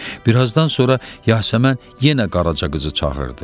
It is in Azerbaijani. Bir azdan sonra Yasəmən yenə Qaraca qızı çağırdı.